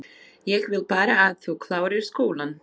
Ég vil bara að þú klárir skólann